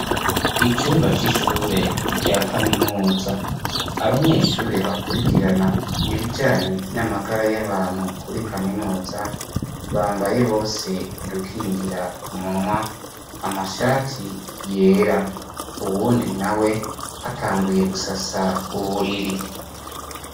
Icumba cishure rya kaminuza. Abanyeshure bakurikirana ibijanye n'amagara yabantu kuri kaminuza bambaye bose udukingira umunwa amashati yera, uwundi nawe atanguye gusasa uburiri.